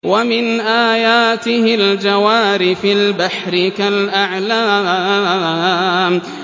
وَمِنْ آيَاتِهِ الْجَوَارِ فِي الْبَحْرِ كَالْأَعْلَامِ